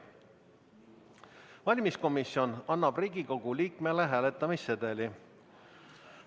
Valimiskomisjon annab Riigikogu liikmele hääletamissedeli.